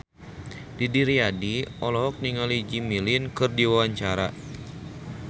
Didi Riyadi olohok ningali Jimmy Lin keur diwawancara